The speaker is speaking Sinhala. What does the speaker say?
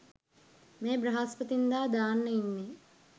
මේ බ්‍රහස්පතින්දා දාන්න ඉන්නේ.